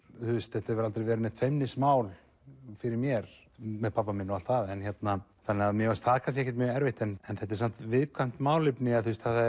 þetta hefur aldrei verið neitt feimnismál fyrir mér með pabba minn og allt það en mér fannst það ekkert mjög erfitt en þetta er samt viðkvæmt málefni